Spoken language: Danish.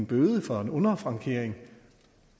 bøde for underfrankering